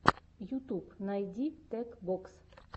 ютуб найди тек бокс